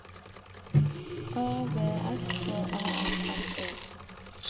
A V S K A F F E